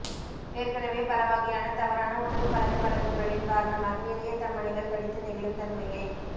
ஏற்கெனவே பலவகையான தவறான உணவுப் பழக்க வழக்கங்களின் காரணமாக இதயத் தமனிகள் தடித்து நெகிழும் தன்மையை